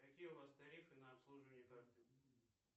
какие у вас тарифы на обслуживание карты